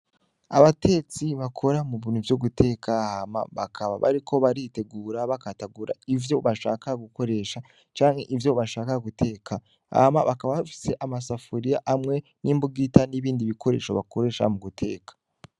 Abatetsi bakora mu bintu vyo guteka ,hama bakaba bariko baritegura bakatagura ivyo bashaka gukoresha, canke ivyo bashaka guteka, hama bakaba bafise amasafuriya amwe, n'imbugita n'ibindi bikoresho bakoresha muguteka.